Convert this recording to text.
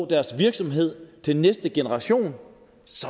deres virksomhed til næste generation